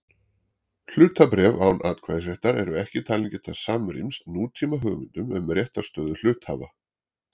Hlutabréf án atkvæðisréttar eru ekki talin geta samrýmst nútíma hugmyndum um réttarstöðu hluthafa.